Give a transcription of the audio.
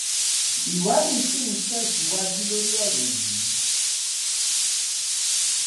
ìwádìí sì ń tẹsíwájú lórí ọrọ yìí